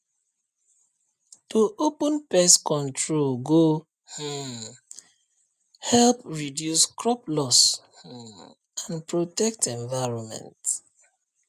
to open pest control go um help reduce crop loss um and protect environment